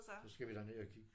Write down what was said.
Så skal vi derned og kigge